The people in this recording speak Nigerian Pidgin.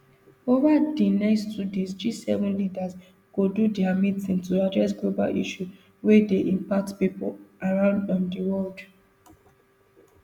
ova di next two days gseven leaders go do dia meeting to address global issues wey dey impact pipo around um di world